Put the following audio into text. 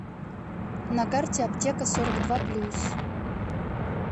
на карте аптека сорок два плюс